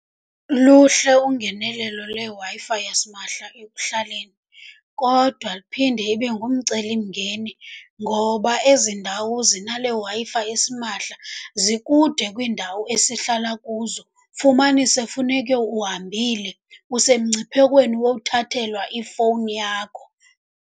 Luhle ungenelelo leWi-Fi yasimahla ekuhlaleni, kodwa liphinde ibe ngumcelimngeni ngoba ezi ndawo zinale Wi-Fi esimahla zikude kwiindawo esihlala kuzo. Fumanise funeke uhambile, usemngciphekweni wowuthathelwa ifowuni yakho.